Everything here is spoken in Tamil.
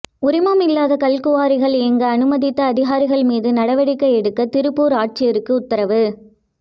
உரிமம் இல்லாத கல்குவாரிகள் இயங்க அனுமதித்த அதிகாரிகள் மீது நடவடிக்கை எடுக்க திருப்பூர் ஆட்சியருக்கு உத்தரவு